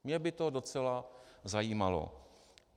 Mě by to docela zajímalo.